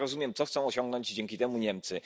Ja rozumiem, co chcą osiągnąć dzięki temu Niemcy.